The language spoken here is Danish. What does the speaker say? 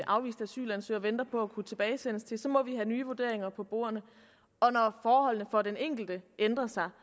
afviste asylansøgere venter på at kunne tilbagesendes til til må vi have nye vurderinger på bordet og når forholdene for den enkelte ændrer sig